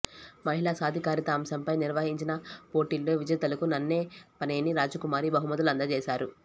మహిళా సాధికారిత అంశంపై నిర్వహిం చిన పోటీల్లో విజేతలకు నన్నపనేని రాజకుమారి బహుమతులు అందజేశారు